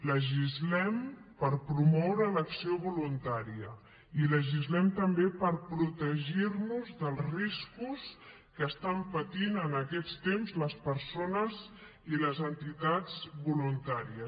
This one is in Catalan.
legislem per promoure l’acció voluntària i legislem també per protegirnos dels riscos que estan patint en aquests temps les persones i les entitats voluntàries